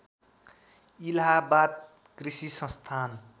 इलाहाबाद कृषि संस्थान